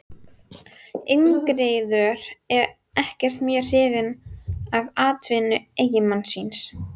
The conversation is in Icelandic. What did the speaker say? Ingiríður ekkert mjög hrifin af atvinnu eiginmanns síns.